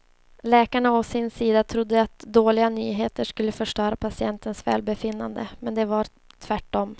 Läkarna å sin sida trodde att dåliga nyheter skulle förstöra patientens välbefinnande men det var tvärtom.